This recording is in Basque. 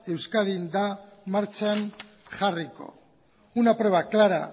euskadin ez da martxan jarriko una prueba clara